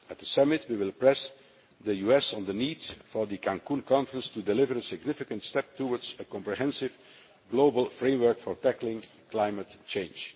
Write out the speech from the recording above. At the summit, we will press the US on the need for the Cancún conference to deliver a significant step towards a comprehensive global framework for tackling climate change.